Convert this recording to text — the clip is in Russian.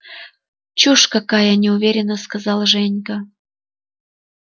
чушь какая неуверенно сказала женька